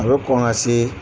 A bɛ kɔn ka se